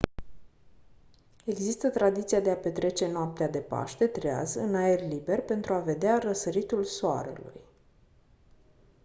există tradiția de a petrece noaptea de paște treaz în aer liber pentru a vedea răsăritul soarelui